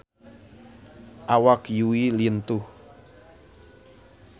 Awak Yui lintuh